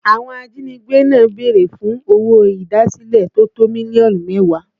Àwọn ajínigbé náà béèrè fún owó idasile tó tó mílíọ̀nù mẹ́wàá